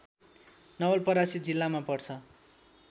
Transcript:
नवलपरासी जिल्लामा पर्छ